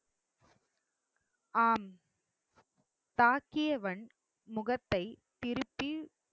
ஆம் தாக்கியவன் முகத்தை திருப்பி